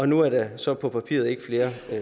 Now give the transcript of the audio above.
nu er der så på papiret ikke flere